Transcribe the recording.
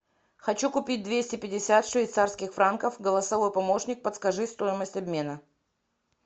хочу купить двести пятьдесят швейцарских франков голосовой помощник подскажи стоимость обмена